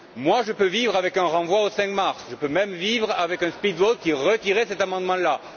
Moi, je peux vivre avec un renvoi au 5 mars, je peux même vivre avec un speed vote qui retirerait cet amendement là.